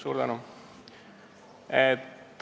Suur tänu!